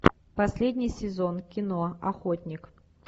последний сезон кино охотник